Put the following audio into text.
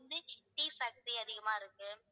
tea factory அதிகமா இருக்கு